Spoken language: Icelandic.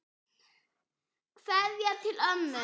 Kveðja til ömmu.